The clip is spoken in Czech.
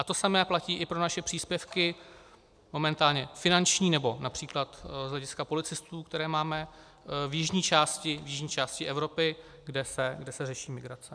A to samé platí i pro naše příspěvky, momentálně finanční nebo například z hlediska policistů, které máme, v jižní části Evropy, kde se řeší migrace.